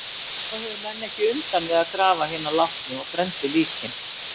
Þá höfðu menn ekki undan við að grafa hina látnu og brenndu líkin.